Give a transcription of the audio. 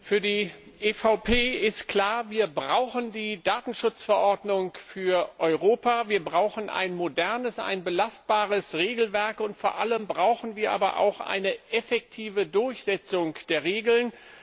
Für die EVP ist klar, wir brauchen die Datenschutzverordnung für Europa, wir brauchen ein modernes, ein belastbares Regelwerk, und vor allem brauchen wir aber auch eine effektive Durchsetzung der Regeln.